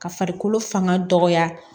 Ka farikolo fanga dɔgɔya